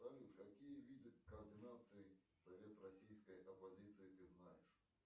салют какие виды координации совет российской оппозиции ты знаешь